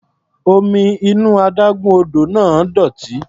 Omi inú adágún odò náà dọ̀tí.